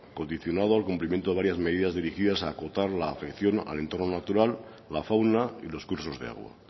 condicionado al cumplimiento de varias medidas dirigidas a acotar la afección al entrono natural la fauna y los cursos de agua